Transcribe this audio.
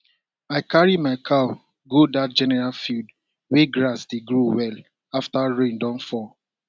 i carry my cow go that general field wey grass dey grow well after rain don fall